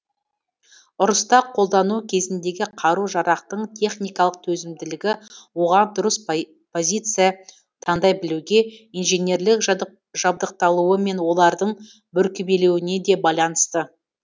ұрыста қолдану кезіндегі қару жарақтың техникалық төзімділігі оған дұрыс позиция тандай білуге инженерлік жабдықталуы мен олардың бүркемеленуіне де байланысты